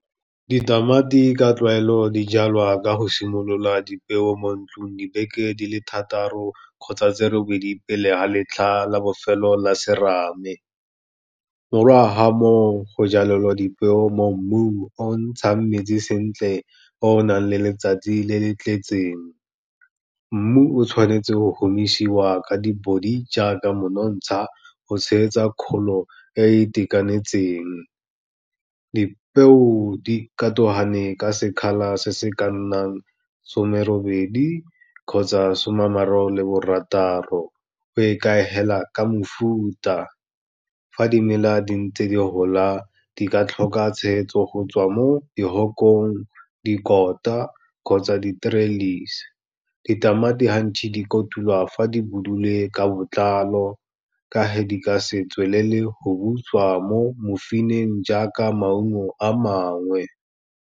Ditamati ka tlwaelo di jalwa ka go simolola dipeo mo ntlong dibeke di le thataro kgotsa tse robedi pele ga letlha la bofelo la serame. Morago ga moo, go jalelelwa dipeo mo mmung o o ntshang metsi sentle, o o nang le letsatsi le le tletseng, mmu o tshwanetswe go homisiwa ka dibody jaaka monontsha, go tshegetsa kgolo e e itekanetseng. Dipeo dikatogane ka sekgala se se ka nnang somerobedi kgotsa soma ama raro le barataro, go ikhaegela ka mofuta, fa dimela di ntse di gola di ka tlhoka tshegetso go tswa mo dihokong, dikota kgotsa ditralisi. Ditamati di kotulwa fa di budule ka botlalo, ka he di ka se tswelele go butswa mo mofeineng jaaka maungo a mangwe.